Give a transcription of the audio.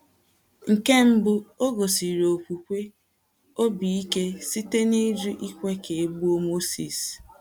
Nke mbụ, o gosiri okwukwe obi ike site n’ịjụ ikwe ka e gbuo Mozis.